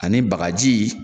Ani bagajii